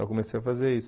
Eu comecei a fazer isso.